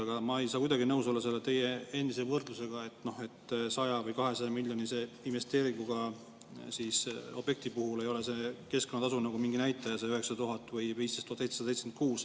Aga ma ei saa kuidagi nõus olla selle teie endise võrdlusega, et 100- või 200-miljonilise investeeringuobjekti puhul ei ole see keskkonnatasu nagu mingi näitaja, see 9000 või 15 776.